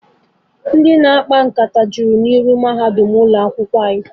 Ndị na-akpa nkata ju n'iru ụzọ ụlọ akwụkwọ mahadum anyị